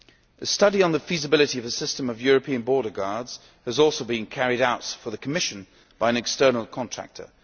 A study on the feasibility of a system of European border guards has also been carried out for the Commission by an external contractor.